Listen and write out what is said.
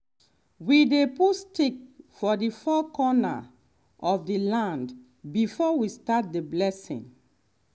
we dey put stick for the four corner of the land before we start the blessing.